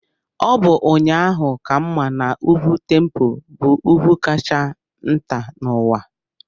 Ọ bụ ụnyaahụ ka m ma na Ugwu Tempo bụ ugwu kacha nta n'ụwa.